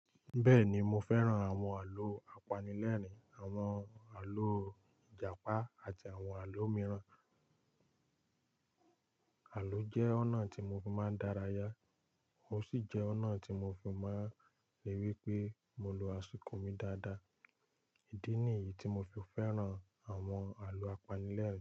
Bẹ́ẹ̀ni mo fẹ́ràn àwọn àlọ́ apanilẹ́rìn, àwọn àlọ́ Ìjàpá àti àwọn àlọ́ mìíràn. Àlọ́ jẹ́ ọ̀nà tí mo fi máa ń dárayá, ó sì jẹ́ ọ̀nà tí mo fi máa ń ríi wí pé mo lo àsìkò mi dáadáa. Ìdí nìyí tí mo fi fẹ́ràn àwọn àlọ́ apanilẹ́rìn.